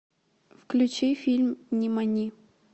включи фильм нимани